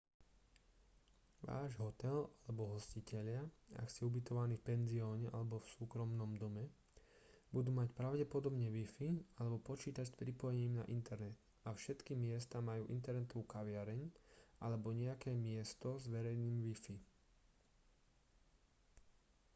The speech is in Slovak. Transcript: váš hotel alebo hostitelia ak ste ubytovaní v penzióne alebo v súkromnom dome budú mať pravdepodobne wifi alebo počítač s pripojením na internet a všetky miesta majú internetovú kaviareň alebo nejaké miesto s verejným wifi